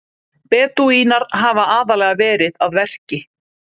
Bedúínar hafa aðallega verið að verki.